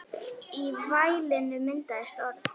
Í vælinu myndast orð.